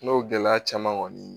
N'o gɛlɛya caman kɔni